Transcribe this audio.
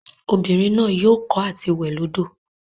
Obinrin naa yoo ko ati we lodo.